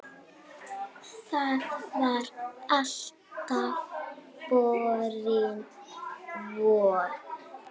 Það var alltaf borin von